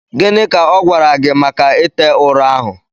Gịnị ka ọ gwara gị maka ite ụrọ ahụ